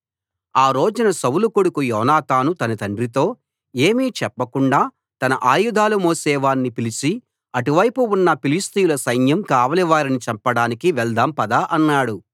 ఆ రోజున సౌలు కొడుకు యోనాతాను తన తండ్రితో ఏమీ చెప్పకుండా తన ఆయుధాలు మోసేవాణ్ణి పిలిచి అటువైపు ఉన్న ఫిలిష్తీయుల సైన్యం కావలి వారిని చంపడానికి వెళ్దాం పద అన్నాడు